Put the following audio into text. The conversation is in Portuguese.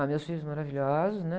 meus filhos maravilhosos, né?